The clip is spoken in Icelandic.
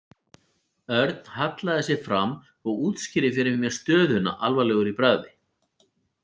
Örn hallaði sér fram og útskýrði fyrir mér stöðuna alvarlegur í bragði.